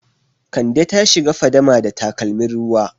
Kande ta shiga fadama da takalmin ruwa.